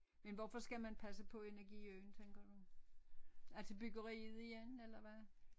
Men hvorfor skal man passe på Energiøen tænker du altså byggeriet i den eller hvad